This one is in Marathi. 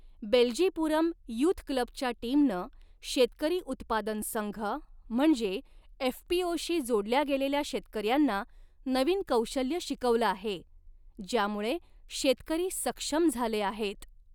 बेल्जीपुरम यूथक्लबच्या टीमनं शेतकरी उत्पादन संघ म्हणजे एफपीओ शी जोडल्या गेलेल्या शेतकऱ्यांना नवीन कौशल्य शिकवलं आहे ज्यामुळे शेतकरी सक्षम झाले आहेत.